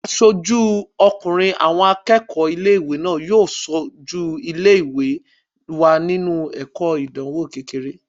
Aṣojú ọkùnrin àwọn akẹ́kọ̀ọ́ ilé-ìwé náà yóò sojú ilé-ìwé wa nínu ìdíje ìdánwò kékeré